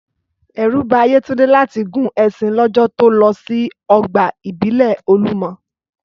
Ẹ̀rù ba Yétúndé láti gun ẹṣin lọ́jọ́ to lọ sí ọgbà ìbílẹ̀ Olúmọ